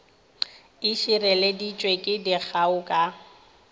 e šireleditšwe ke dikgao ka